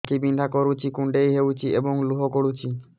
ଆଖି ବିନ୍ଧା କରୁଛି କୁଣ୍ଡେଇ ହେଉଛି ଏବଂ ଲୁହ ଗଳୁଛି